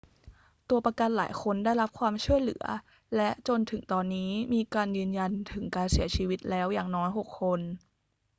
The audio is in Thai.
ตัวประกันหลายคนได้รับความช่วยเหลือ และจนถึงตอนนี้มีการยืนยันถึงการเสียชีวิตแล้วอย่างน้อย 6 คน